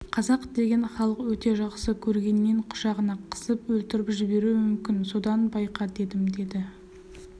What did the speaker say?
қазақ деген халық өте жақсы көргеннен құшағына қысып өлтіріп жіберуі мүмкін содан байқа дедім деді